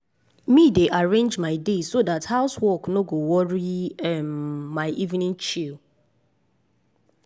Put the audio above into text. me dey arrange my day so dat house work no go worry um my evening chill.